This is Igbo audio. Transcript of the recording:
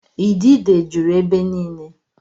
Idide jụrụ ebe niile.